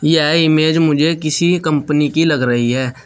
यह इमेज मुझे किसी कंपनी की लग रही है।